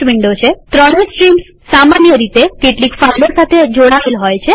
આપણે જોયું કે સામાન્ય રીતે ત્રણે સ્ટ્રીમ્સ સામાન્ય રીતે કેટલીક ફાઈલો સાથે જોડાએલ હોય છે